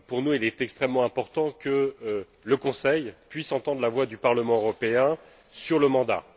Il est extrêmement important pour nous que le Conseil puisse entendre la voix du Parlement européen sur le mandat.